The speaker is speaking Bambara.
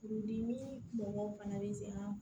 Furudimi mɔgɔw fana bɛ se an ma